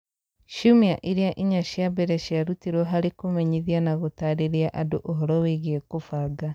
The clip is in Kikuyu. Ciumia iria inya cia mbere ciarutirũo harĩ kũmenyithia na gũtarĩria andũ ũhoro wĩgiĩ kũbanga